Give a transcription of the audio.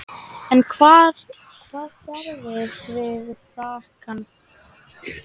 En hvað gerðirðu við frakkann?